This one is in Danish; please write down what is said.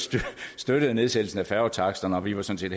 støttede nedsættelsen af færgetaksterne og vi var sådan